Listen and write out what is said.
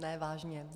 Ne, vážně.